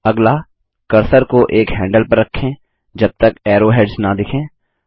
अगला कर्सर को एक हैंडल पर रखें जबतक एरोहेड्स न दिखें